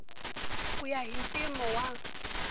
ku ya hi mpimo wa